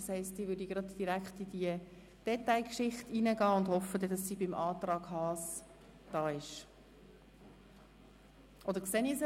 Daher würde ich nun direkt in die Detailberatung gehen und hoffe, dass sie beim Antrag Haas anwesend sein wird.